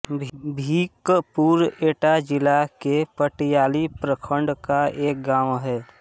भीकपुर एटा जिले के पटियाली प्रखण्ड का एक गाँव है